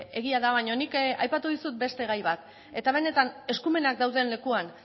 egia da baina nik aipatu dizut beste gai bat eta benetan eskumenak dauden lekuan